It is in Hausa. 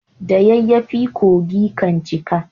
da yayafi kogi kan cika